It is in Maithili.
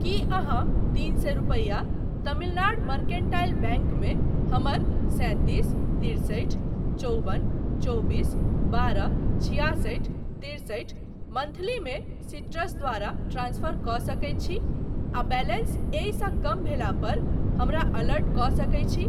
की अहाँतीन सए रुपैया तमिलनाड मर्केंटाइल बैंक मे हमर सैंतीस तिरसठि चौबन चौबीस बारह छिआसठि तिरसठि मंथली मे सीट्रस द्वारा ट्रांसफर कऽ सकैत छी आ बैलेंस एहि सँ कम भेला पर हमरा अलर्ट कऽ सकैत छी ?